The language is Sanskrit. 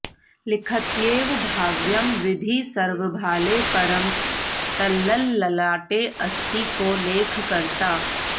लिखत्येव भाव्यं विधिः सर्वभाले परं तल्ललाटेऽस्ति को लेखकर्ता